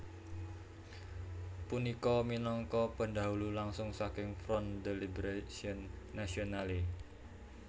Punika minangka pendahulu langsung saking Front de Libération Nationale